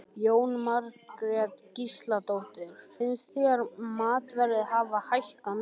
Jóhanna Margrét Gísladóttir: Finnst þér matarverð hafa hækkað mikið?